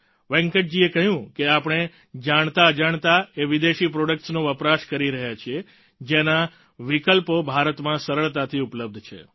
વેંકટજીએ કહ્યું કે આપણે જાણતાઅજાણતા એ વિદેશી પ્રોડક્ટ્સનો વપરાશ કરી રહ્યા છીએ જેના વિકલ્પો ભારતમાં સરળતાથી ઉપલબ્ધ છે